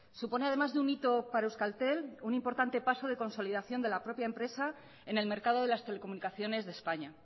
supone además de un hito para euskaltel un importante paso de consolidación de la propia empresa en el mercado de las telecomunicaciones de españa